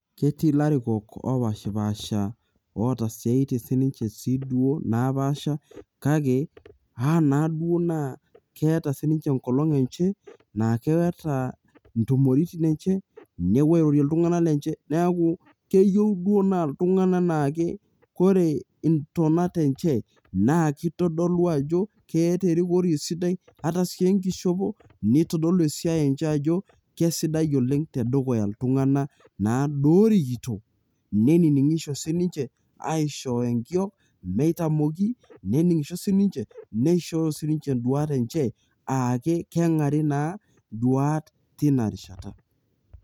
ketii ilarikok opashipasha, oota isiatiin sii duo napaasha, kake amaa, naaduo naa keeta ii ninche enkolong enche, naa keeta intumoritin enche, nepuuo airorie iltungana ninche neku keyieu duoo naa iltungana, naa ore ntonat enche naa kitodolu ajo kerikori esidai, ata iss enkishopo neitodolu esiai enche ajo, kesidai oleng tedukya iltungana, naaduo orikito neiningisho sii ninche aishooyo enkiok, neitamoki, neningisho sii ninche. neishooyo sii ninche duat enye aa kengari naa duat teina rishata.